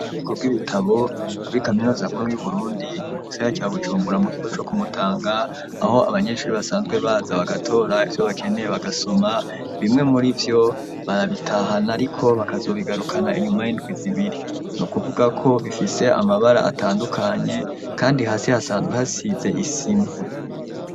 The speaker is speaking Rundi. Nikobw'ibitabo kuri kaminozankuru y'uburundi mu gisiha ca bucumbura mu gigo co kumutanga aho abanyeshuri basanzwe baza bagatora ivyo bakeneye bagasoma bimwe muri vyo baabitahana ari ko bakazobigarukana inyuma y'indwi zibiri ni kuvuga ko bifise amabara atandukanye, kandi hasi hasanzwe hasize isi a.